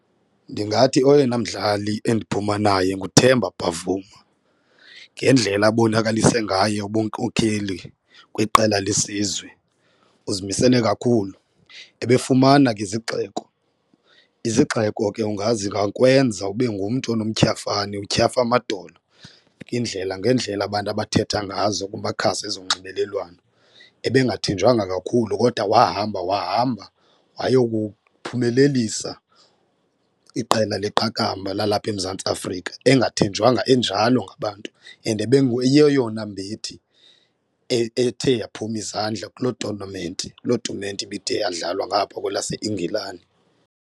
Ndingathi oyena mdlali endiphuma naye nguThemba Bavuma ngendlela abonakalise ngaye ubunkokheli kwiqela lesizwe uzimisele kakhulu, ebefumana ke izigxeko. Izigxeko ke zingakwenza ube ngumntu onomtyhafane utyhafe amadolo ngeendlela ngeendlela abantu abathetha ngazo kumakhasi ezonxibelelwano, ebengathenjwanga kakhulu kodwa wahamba wahamba wayokuphumelelisa iqela leqakamba lalapha eMzantsi Afrika engathenjwanga enjalo ngabantu and ibenguyeyona mbethi ethe yaphuma izandla kuloo tonamenti kuloo tumente ibithe iyadlalwa ngapha kwelaseNgilane.